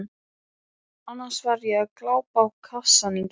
annars var ég að glápa á kassann í gærkvöldi.